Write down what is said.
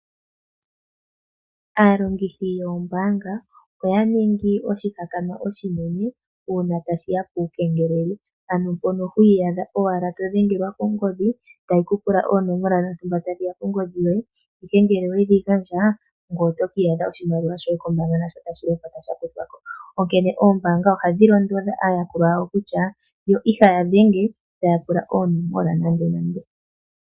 Aalongithi yoombaanga oya ningi oshihakanwa oshinene uuna tashiya puukengeleli ano mpono hwii yadha owala to dhengelwa ongodhi tayi ku pula oonomola dhontumba tadhiya kongodhi yoye ihe ngele owedhi gandja ngoye oto kiiyadha oshimaliwa shoye nasho tashi lopota kombaanga sha kuthwako, onkene Oombaanga ohadhi londodha aayakulwa yawo kutya yo ihaya dhenge taya pula oonomola nande nande.